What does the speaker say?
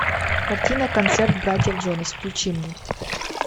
картина концерт братьев джонас включи мне